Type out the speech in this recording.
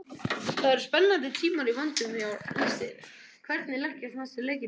Það eru spennandi tímar í vændum hjá landsliðinu, hvernig leggjast næstu leikir í þig?